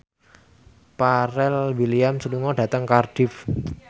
Pharrell Williams lunga dhateng Cardiff